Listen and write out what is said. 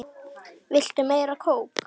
Viltu meira kók?